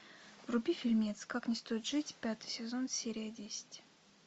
вруби фильмец как не стоит жить пятый сезон серия десять